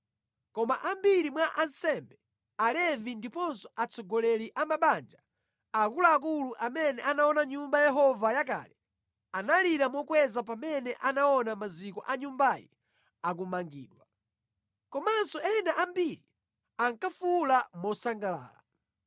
Koma ambiri mwa ansembe, Alevi ndiponso atsogoleri amabanja, akuluakulu amene anaona Nyumba ya Yehova yakale, analira mokweza pamene anaona maziko a nyumbayi akumangidwa. Komanso ena ambiri ankafuwula mosangalala.